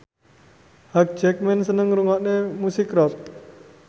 Hugh Jackman seneng ngrungokne musik rock